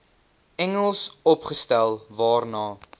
engels opgestel waarna